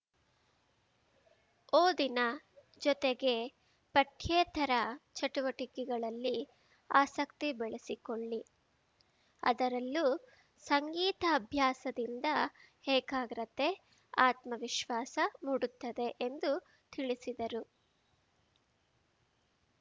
ಓದಿನ ಜೊತೆಗೆ ಪಠ್ಯೇತರ ಚಟುವಟಿಕೆಗಳಲ್ಲಿ ಆಸಕ್ತಿ ಬೆಳೆಸಿಕೊಳ್ಳಿ ಅದರಲ್ಲೂ ಸಂಗೀತಾಭ್ಯಾಸದಿಂದ ಏಕಾಗ್ರತೆ ಆತ್ಮವಿಶ್ವಾಸ ಮೂಡುತ್ತದೆ ಎಂದು ತಿಳಿಸಿದರು